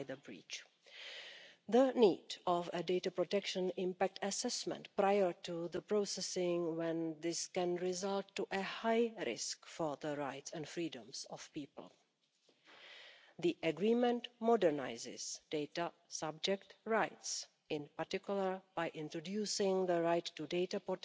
We as the SD Group would very much have preferred to have one set of data protection rules for everybody, including the EU institutions. However, the Commission chose a different approach. The data protection rules for EU institutions that we will be voting on tomorrow is, therefore, the third step in our endeavour to secure EU citizens' fundamental right to